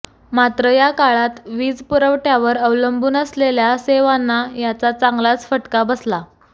मात्र याकाळात वीज पुरवठ्यावर अवलंबून असलेल्या सेवांना याचा चांगलाच फटका बसला